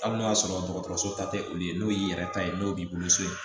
Hali n'a y'a sɔrɔ dɔgɔtɔrɔso ta tɛ olu ye n'o y'i yɛrɛ ta ye n'o b'i bolo so